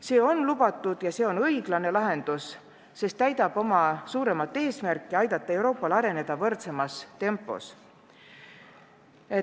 See on lubatud ja see on õiglane lahendus, sest täidab suuremat eesmärki aidata Euroopal areneda võrdsemas tempos.